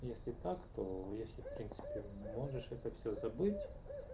если так то если в принципе ты можешь это всё забыть